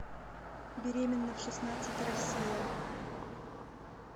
беременна в шестнадцать россия